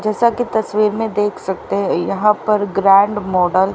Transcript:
जैसा की तस्वीर में देख सकते हैं यहां पर ग्रैंड मॉडल --